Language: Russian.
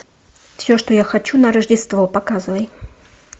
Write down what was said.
все что я хочу на рождество показывай